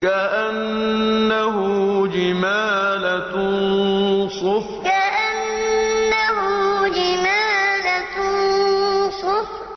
كَأَنَّهُ جِمَالَتٌ صُفْرٌ كَأَنَّهُ جِمَالَتٌ صُفْرٌ